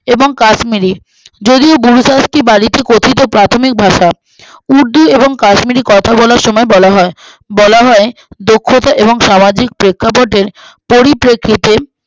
এবং কাশ্মীরি যদিও বুরখা একটি বালিত কথিত প্রাথমিক ভাষা উর্দু এবং কাশ্মীরি কথা বলার সময়ে বলা হয় বলা হয় দক্ষতা এবং সামাজিক প্রেক্ষাপটের পরিপ্রেক্ষিতের